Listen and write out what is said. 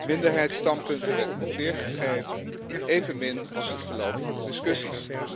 Minderheidsstandpunten werden niet weergegeven, evenmin als het verloop van de discussies.